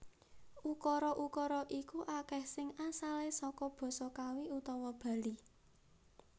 Ukara ukara iku akeh sing asale saka Basa Kawi utawa Bali